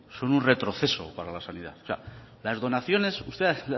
son un retroceso para la sanidad o sea las donaciones usted